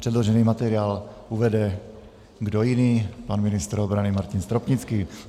Předložený materiál uvede - kdo jiný? - pan ministr obrany Martin Stropnický.